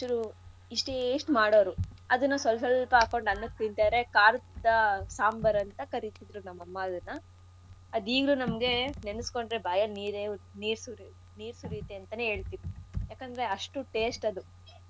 ಇಷ್ಟೇ ಇಷ್ಟ್ ಮಾಡೋರು ಅದನ್ನ ಸ್ವಲ್ಸ್ವಲ್ಪ ಹಾಕೊಂಡ್ ಅನ್ನಕ್ಕೆ ತಿನ್ತಾ ಇದ್ರೆ ಖಾರದ ಸಾಂಬಾರು ಅಂತ ಕರಿತಿದ್ರು ನಮ್ ಅಮ್ಮ ಅದನ್ನ. ಅದ್ ಈಗ್ಲೂ ನಮ್ಗೆ ನೆನಸ್ಕೊಂಡ್ರೆ ಬಾಯಲ್ ನೀರೇ ನೀರು ಸುರಿಯತ್ ನೀರು ಸುರಿಯತ್ತೆ ಅಂತನೇ ಹೇಳ್ತಿವಿ. ಯಾಕಂದ್ರೆ ಅಷ್ಟು taste